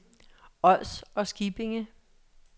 Ods og Skippinge